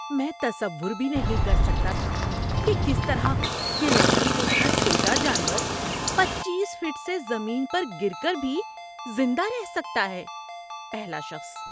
میں تصور بھی نہیں کر سکتا تھا کہ کس طرح گلہری جیسا چھوٹا جانور پچیس فٹ سے زمین پر گر کر بھی زندہ رہ سکتا ہے۔ (پہلا شخص)